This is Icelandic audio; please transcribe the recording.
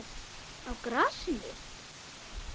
Á grasinu?